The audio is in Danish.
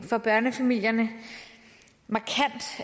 for børnefamilierne